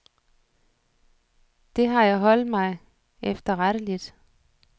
Det har jeg holdt mig efterretteligt.